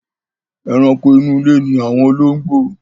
Ẹranko inú ilé ni àwọn olóngbò.